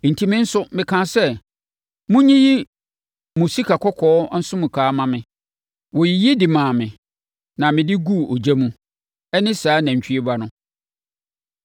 Enti, me nso mekaa sɛ, ‘Monyiyi mo sikakɔkɔɔ nsonkawa mma me.’ Wɔyiyi de maa me na mede guu ogya mu. Ɛne saa nantwie ba no.”